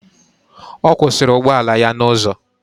Ọ kwụsịrị ụgbọala ya n'ụzọ.